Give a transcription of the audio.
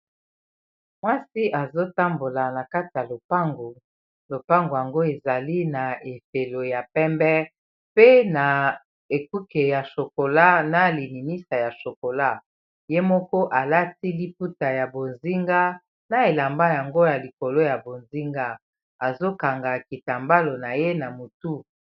Mwasi azotambola na kati ya lopango lopango yango ezali na efelo ya pembe pe na ekuke ya chocolat na lininisa ya chocolat ye moko alati liputa ya bozinga na elamba yango ya likolo ya bozinga azokanga kitambalo na ye na motu